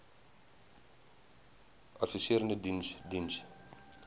adviserende diens diens